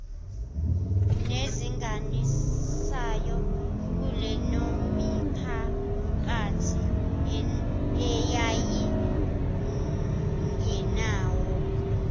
nelinganisayo kuleyomiphakathi eyayingenawo